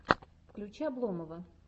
включи обломова